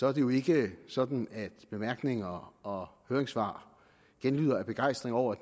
er det jo ikke sådan at bemærkninger og høringssvar genlyder af begejstring over